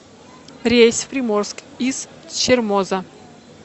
рейс в приморск из чермоза